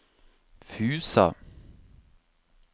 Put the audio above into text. Fusa